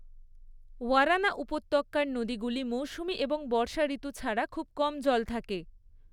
ওয়ারানা উপত্যকার নদীগুলি মৌসুমী এবং বর্ষা ঋতু ছাড়া খুব কম জল থাকে।